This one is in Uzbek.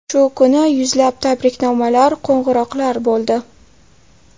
Shu kuni yuzlab tabriknomalar, qo‘ng‘iroqlar bo‘ldi.